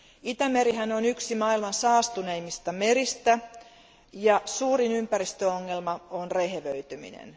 Itämerihän on yksi maailman saastuneimmista meristä ja suurin ympäristöongelma on rehevöityminen.